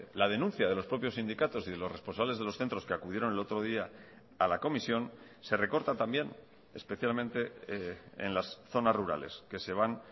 la denuncia de los propios sindicatos y de los responsables de los centros que acudieron el otro día a la comisión se recorta también especialmente en las zonas rurales que se van